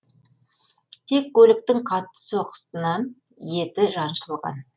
тек көліктің қатты соққысынан еті жаншылған